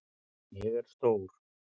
Ég er stór.